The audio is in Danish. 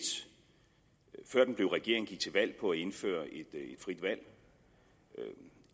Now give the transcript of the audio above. før den en regering gik til valg på at indføre et frit valg